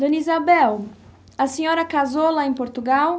Dona Isabel, a senhora casou lá em Portugal?